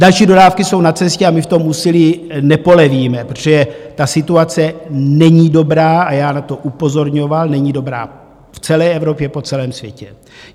Další dodávky jsou na cestě a my v tom úsilí nepolevíme, protože ta situace není dobrá, a já na to upozorňoval, není dobrá v celé Evropě, po celém světě.